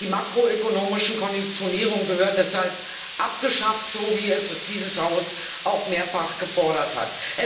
Die makroökonomische Konditionierung gehört deshalb abgeschafft, so wie es dieses Haus auch mehrfach gefordert hat.